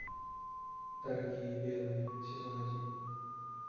дорогие белые сезон один